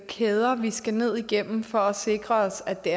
kæder vi skal ned igennem for at sikre os at det